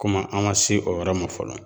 Komi an ma se o yɔrɔ ma fɔlɔ